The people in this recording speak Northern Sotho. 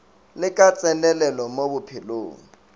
le ka tsenelelo mo bophelong